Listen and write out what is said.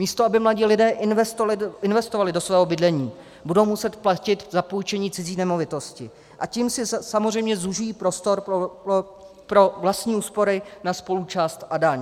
Místo aby mladí lidé investovali do svého bydlení, budou muset platit za půjčení cizí nemovitosti, a tím si samozřejmě zužují prostor pro vlastní úspory na spoluúčast a daň.